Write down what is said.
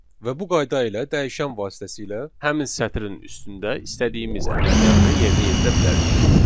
Və bu qayda ilə dəyişən vasitəsilə həmin sətrin üstündə istədiyimiz əməliyyatı yerinə yetirə bilərik.